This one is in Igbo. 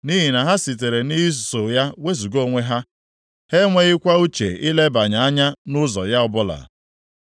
nʼihi na ha sitere nʼiso ya wezuga onwe ha, ha enweghịkwa uche ilebanye anya nʼụzọ ya ọbụla.